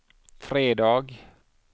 fredag